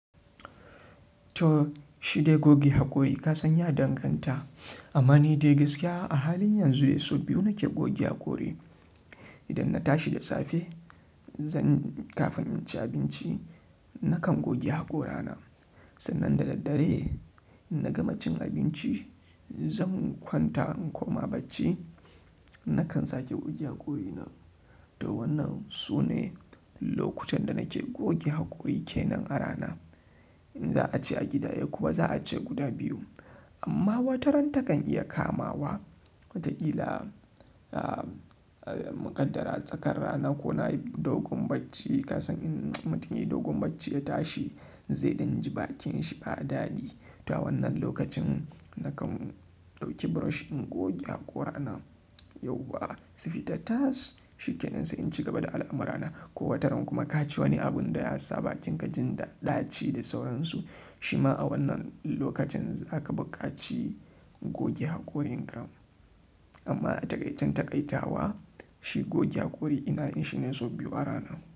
To shide goge haƙori ka san ya danganta. Amma ni dai gaskiya a halin yanzu dai sau biyu nike goge haƙori. Idan na tashi da safe zan kafin in ci abinci nakan goge haƙorana. Sannan da daddare in na gama cin abinci zan kwanta inkoma bacci nakan sake goge hakori na. Toh wannan sune lokutan da nake goge hakori kenan a rana in za a ce a gida a kuwa za a ce guda biyu. Amma wataran takan iya kamawa wataƙila a, a muqaddara tsakar rana ko na yi dogon bacci ka san in mutum yayi dogon bacci ya tashi zai ɗinji bakin shi ba daɗi. To a wannan lokacin nakan ɗauki brush in goge haƙorana. Yauwa su fita tas shi kenan sai in ci gaba da al'amurana. Ko wataran kuma ka ci wani abun da ya sa bakinka jinda ɗaci da sauransu shima a wannan lokacin zaka bukaci goge haƙorinka. Amma a takaican takaitawa shi goge hakori ina yin shi sau biyu a rana.